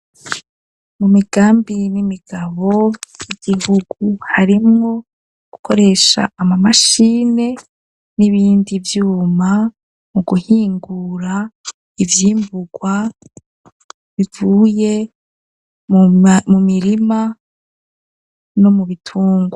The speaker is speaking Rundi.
Mu migambi n'imigabo y'igihugu harimwo gukoresha ama mashini n'ibindi vyuma mu guhingura ivyimbugwa bivuye mu mirima no mu bitungwa.